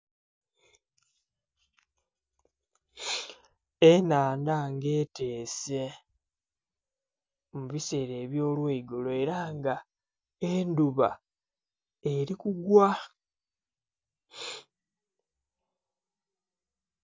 Ennhandha ng'eteese mu biseera eby'olweigulo, era nga endhuba eli kugwa.